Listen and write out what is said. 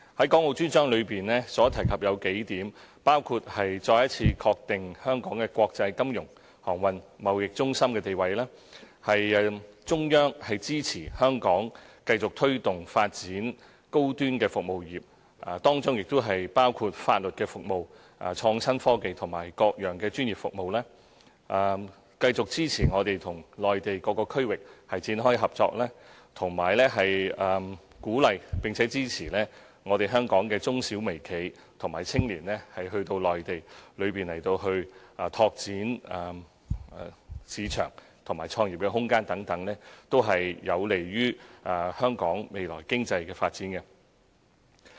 《港澳專章》提及數點，包括再一次確定香港的國際金融、航運、貿易中心地位；中央支持香港繼續推動和發展高端服務業，當中包括法律服務、創新科技和各樣專業服務；繼續支持我們與內地各個區域展開合作，以及鼓勵並支持香港的中小微企和青年到內地拓展市場和創業空間等，這些均有利香港未來的經濟發展。